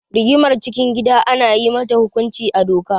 Rigimar cikin gida ana yi mata hukunci a doka.